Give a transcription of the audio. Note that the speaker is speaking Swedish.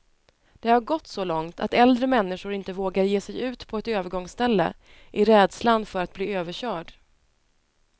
Det har gått så långt att äldre människor inte vågar ge sig ut på ett övergångsställe, i rädslan för att bli överkörd.